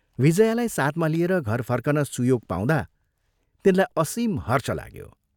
विजयालाई साथमा लिएर घर फर्कन सुयोग पाउँदा तिनलाई असीम हर्ष लाग्यो।